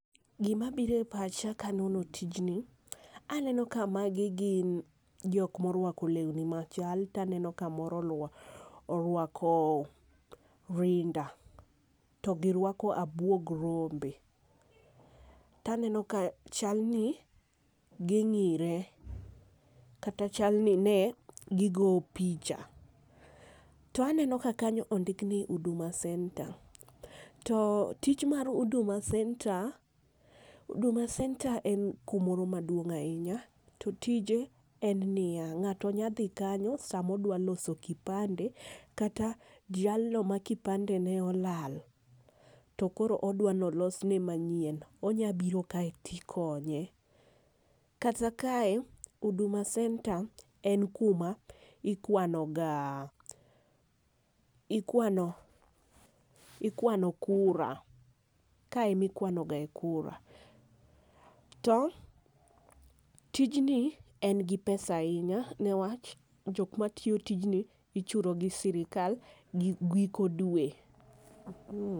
Gi ma biro e pacha ka nono tijni, aneno ka magi gin jok ma orwako lewni ma chal to aneno ka moro orwako rinda to gi rwako abuog rombe to aneno ka chal ni gi ng'ire kata chal ni ne gigo picha .To aneno ka kanyo ondik ni huduma center. To tich mar huduma center, huduma center en ku moro maduong' ainya to tije en ni ya, ng'ato nya dhi kanyo saa ma odwa loso kipande kata jalno ma kipande ne olal to koro dwa ni olos ne ma nyien, onya biro kae ti ikonye. Kata kae huduma center en ku ma ikwano ga ikwano kura kae ema ikwano ga kura. To tijni en gi pesa ainya ne wach jok ma tiyo tijni ichulo gi sirkal giko dwe.